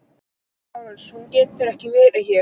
LÁRUS: Hún getur ekki verið hér.